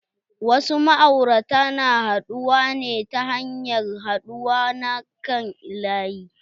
Wasu ma'aurata na haɗuwa ne ta hanyar haɗuwa na kan laƴi.